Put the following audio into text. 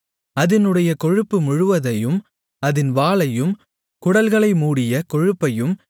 அதினுடைய கொழுப்பு முழுவதையும் அதின் வாலையும் குடல்களை மூடிய கொழுப்பையும்